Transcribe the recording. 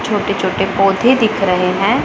छोटे छोटे पौधे दिख रहे हैं।